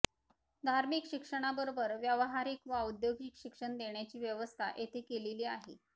धार्मिक शिक्षणाबरोबर व्यावहारिक व औद्योगिक शिक्षण देण्याची व्यवस्था येथे केलेली आहे